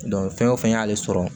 fɛn o fɛn y'ale sɔrɔ